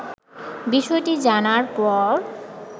বিষয়টি জানার পর